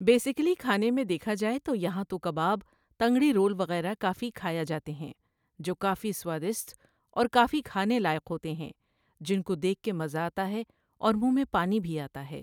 Basically کھانے میں دیکھا جائے تو یہاں تو کباب تنگڑی رول وغیرہ کافی کھایا جاتے ہیں، جو کافی سوادسٹ اور کافی کھانے لائق ہوتے ہیں، جن کو دیکھ کے مزہ آتا ہے اور مُنہ میں پانی بھی آتا ہے۔